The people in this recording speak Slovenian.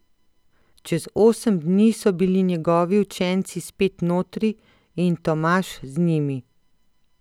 Čez osem dni so bili njegovi učenci spet notri in Tomaž z njimi.